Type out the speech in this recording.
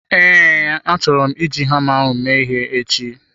Ee, achọrọ m iji hama mee ihe echi.